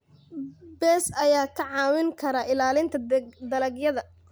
Bees ayaa kaa caawin kara ilaalinta dalagyada.